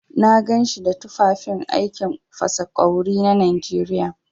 Na ganshi da tufafin aikin fasa ƙwawri na Najeriya.